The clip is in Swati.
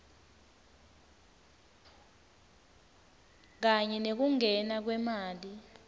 kanye nekungena kwemali